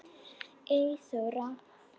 Eyþór Rafn.